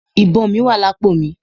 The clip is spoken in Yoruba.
Ìbọn mí wà lápò mi.